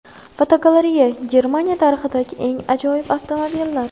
Fotogalereya: Germaniya tarixidagi eng ajoyib avtomobillar.